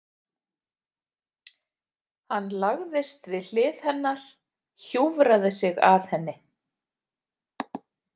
Hann lagðist við hlið hennar, hjúfraði sig að henni.